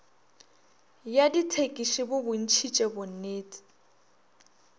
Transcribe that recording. ya dithekisi bo bontšhitše bonnete